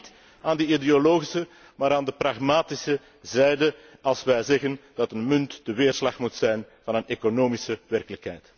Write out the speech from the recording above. Wij staan niet aan de ideologische, maar aan de pragmatische zijde, als wij zeggen dat een munt de weerslag moet zijn van een economische werkelijkheid.